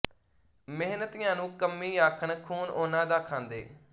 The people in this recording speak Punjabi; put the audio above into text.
ਮਿਹਨਤੀਆਂ ਨੂੰ ਕੰਮੀ ਆਖਣ ਖੂਨ ਉਹਨਾਂ ਦਾ ਖਾਂਦੇ